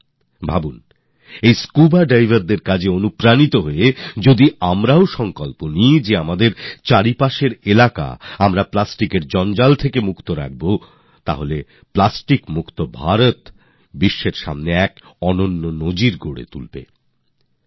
একবার ভাবুন এই স্কুবা diversদের থেকে প্রেরণা নিয়ে যদি আমরা শুধু নিজেদের আশেপাশের এলাকাকে প্লাস্টিকের আবর্জনা থেকে মুক্ত করার সিদ্ধান্ত নিই তাহলে প্লাস্টিকমুক্ত ভারত পুরো বিশ্বের জন্য একটা উদাহরণ তৈরি করতে পারে